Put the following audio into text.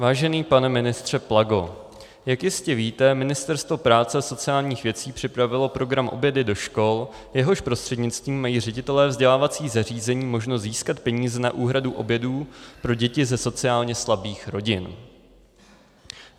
Vážený pane ministře Plago, jak jistě víte, Ministerstvo práce a sociálních věcí připravilo program obědy do škol, jehož prostřednictvím mají ředitelé vzdělávacích zařízení možnost získat peníze na úhradu obědů pro děti ze sociálně slabých rodin.